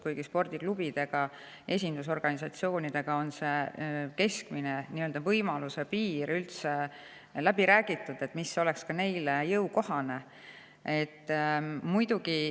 Spordiklubide ja esindusorganisatsioonidega on läbi räägitud, mis võiks olla keskmine nii-öelda võimaluse piir, mis oleks neile jõukohane.